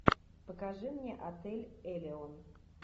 покажи мне отель элеон